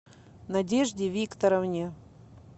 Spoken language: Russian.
надежде викторовне